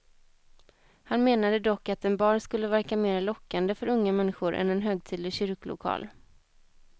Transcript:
Han menade dock att en bar skulle verka mer lockande för unga människor än en högtidlig kyrkolokal.